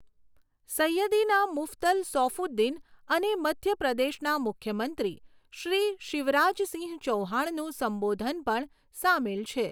સૈયદિના મુફદ્દલ સૌફુદ્દીન અને મધ્યપ્રદેશના મુખ્યમંત્રી શ્રી શિવરાજસિંહ ચૌહાણનું સંબોધન પણ સામેલ છે.